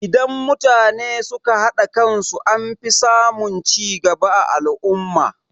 Idan mutane suka haɗa kan su anfi samun cigaba a al'umma.